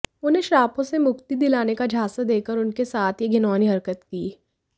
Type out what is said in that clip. उन्हें श्रापों से मुक्ति दिलाने का झांसा देकर उनके साथ ये घिनौनी हरकत की